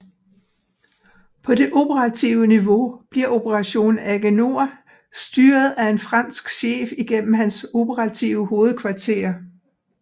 På det operative niveau bliver Operation AGENOR styret af en fransk chef igennem hans operative hovedkvarter